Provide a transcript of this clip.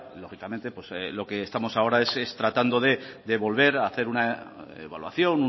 lógicamente pues lo que estamos ahora es tratando de volver a hacer una evaluación